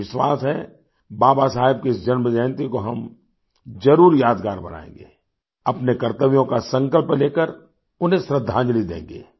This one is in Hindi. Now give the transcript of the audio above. मुझे विश्वास है बाबा साहेब की इस जन्म जयंती को हम जरूर यादगार बनाएँगे अपने कर्तव्यों का संकल्प लेकर उन्हें श्रद्धांजलि देंगे